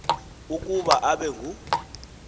ukuba abe ngu